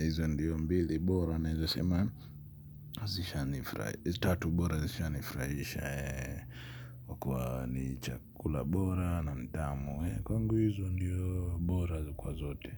Hizo ndiyo mbili bora naweza sema. Hizo tatu bora zishanifrahisha. Kwa ni chakula bora na mtamu. Kwa ngu hizo ndiyo bora kwa zote.